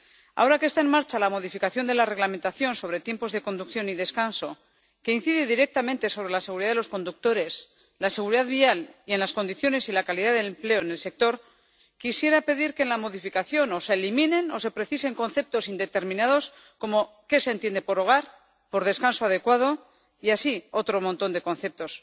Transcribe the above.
Ahora que está en marcha la modificación del Reglamento sobre el tiempo de conducción y el descanso, que incide directamente sobre la seguridad de los conductores, la seguridad vial y las condiciones y la calidad del empleo en el sector, quisiera pedir que, en la modificación, o se eliminen o se precisen conceptos indeterminados, como qué se entiende por hogar, por descanso adecuado y así otros muchos conceptos.